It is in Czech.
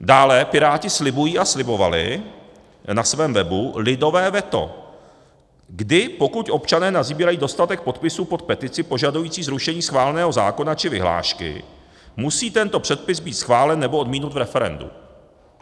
Dále Piráti slibují a slibovali na svém webu lidové veto, kdy pokud občané nasbírají dostatek podpisů pod petici požadující zrušení schváleného zákona či vyhlášky, musí tento předpis být schválen nebo odmítnut v referendu.